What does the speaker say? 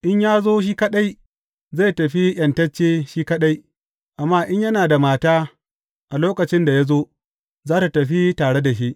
In ya zo shi kaɗai, zai tafi ’yantacce shi kaɗai; amma in yana da mata a lokacin da ya zo, za tă tafi tare da shi.